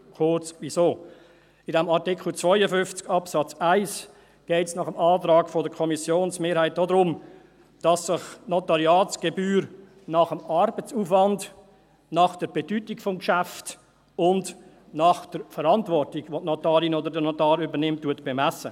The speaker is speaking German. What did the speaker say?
Kurz, wieso: In Artikel 52 Absatz 1 geht es nach Antrag der Kommissionsmehrheit darum, dass sich die Notariatsgebühr nach dem Arbeitsaufwand, nach der Bedeutung des Geschäfts und nach der Verantwortung, welche die Notarin oder der Notar übernimmt, bemisst.